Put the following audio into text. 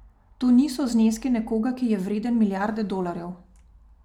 To niso zneski nekoga, ki je vreden milijarde dolarjev.